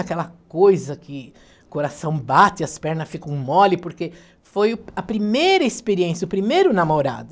Aquela coisa que o coração bate, as pernas ficam mole, porque foi o a primeira experiência, o primeiro namorado.